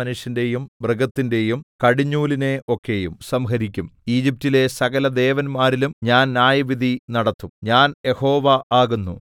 മനുഷ്യന്റെയും മൃഗത്തിന്റെയും കടിഞ്ഞൂലിനെ ഒക്കെയും സംഹരിക്കും ഈജിപ്റ്റിലെ സകലദേവന്മാരിലും ഞാൻ ന്യായവിധി നടത്തും ഞാൻ യഹോവ ആകുന്നു